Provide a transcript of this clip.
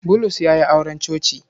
Bulus ya yi auren coci.